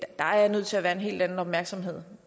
der er nødt til at være en helt anden opmærksomhed